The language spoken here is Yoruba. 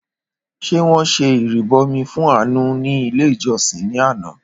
Ṣé wọn ṣe ìrìbọmi fún Àánú ní ilé ìjọsìn ní àná?